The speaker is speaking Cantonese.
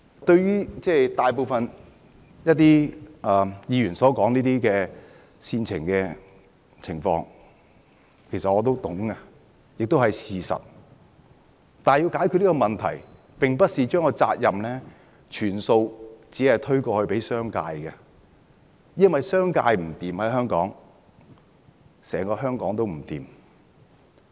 對於大部分議員所說的煽情情況，其實我也明白，亦是事實，但要解決問題，並不是把責任完全推卸給商界，因為如果商界在香港撐不住，整個香港也會撐不住。